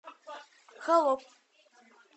холоп